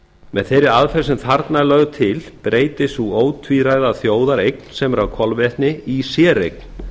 með þeirri aðferð sem þarna er lögð til breytist sú ótvíræða þjóðareign sem er á kolvetni í séreign